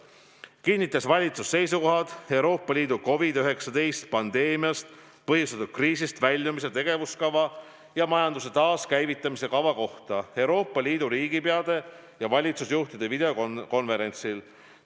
Siis kinnitas valitsus Eesti seisukohad Euroopa Liidu COVID-19 pandeemiast põhjustatud kriisist väljumise tegevuskava ja majanduse taaskäivitamise kava kohta Euroopa Liidu riigipeade ja valitsusjuhtide videokonverentsil.